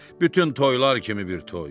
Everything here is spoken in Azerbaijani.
Pa, bütün toylar kimi bir toy.